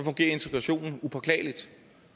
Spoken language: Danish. integrationen upåklageligt